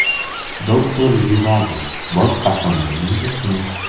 Doktor Jivago – bosh qahramonning ismi.